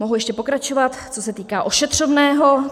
Mohu ještě pokračovat, co se týká ošetřovného.